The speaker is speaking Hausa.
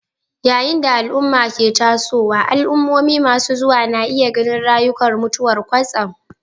Yayin da al'umma ke tasowa, al'ummomi masu zuwa na iya ganin raguwar mutuwar kwatsam